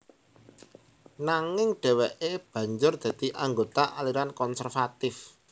Nanging dhèwèké banjur dadi anggota aliran konservatif